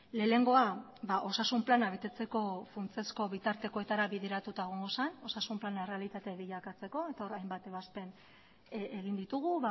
lehenengoa osasun plana betetzeko funtsezko bitartekoetara bideratuta egongo zen osasun plana errealitate bilakatzeko eta hor hainbat ebazpen egin ditugu